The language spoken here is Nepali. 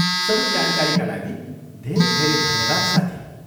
सबै जानकारीका लागि धेरै धेरै धन्यवाद, साथी।